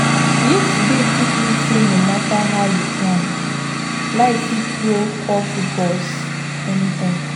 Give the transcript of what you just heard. Yesterday teach me say no matter how you plan, life fit throw curveballs anytime.